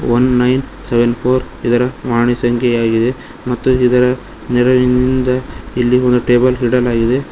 One nine seven four ಇದರ ವಾಣಿ ಸಂಖ್ಯೆಯಾಗಿದೆ ಮತ್ತು ಇದರ ನೆರವಿನಿಂದ ಇಲ್ಲಿ ಒಂದು ಟೇಬಲ್ ಇಡಲಾಗಿದೆ.